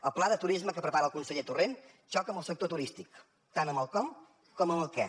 el pla de turisme que prepara el conseller torrent xoca amb el sector turístic tant amb el com com amb el què